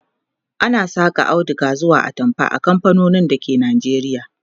ana Saka auduga zuwa atamfa a kamfanonin dake Najeriya